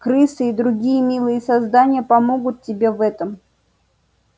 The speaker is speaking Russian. крысы и другие милые создания помогут тебе в этом